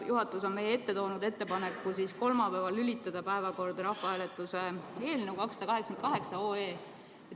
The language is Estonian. Juhatus on meie ette toonud ettepaneku panna kolmapäevasesse päevakorda rahvahääletuse eelnõu 288.